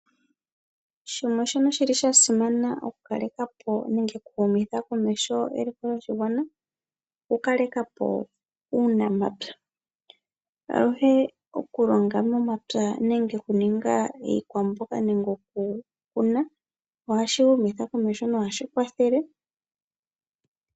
Shimwe shono shili shasimana oku kalekapo nenge oku humitha komeho eliko lyoshigwana oku kalekapo uunamapya. Aluhe oku longa momapya nenge okuninga iikwamboga nenge oku kuma ohashi humitha komeho nohashi kwathele